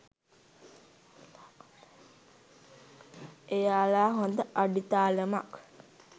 එයාලා හොඳ අඩිතාලමක්